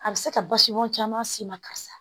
A bɛ se ka basimɔn caman s'i ma karisa